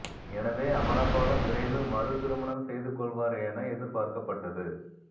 எனவே அமலாபாலும் விரைவில் மறு திருமணம் செய்து கொள்வார் என எதிர்பார்க்கப்பட்டது